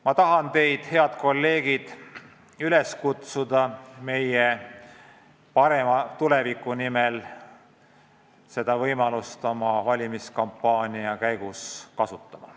Ma tahan teid, head kolleegid, üles kutsuda meie parema tuleviku nimel seda võimalust oma valimiskampaania käigus kasutama.